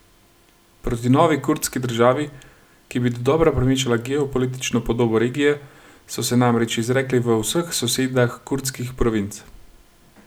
Proti novi kurdski državi, ki bi dodobra premešala geopolitično podobo regije, so se namreč izrekli v vseh sosedah kurdskih provinc.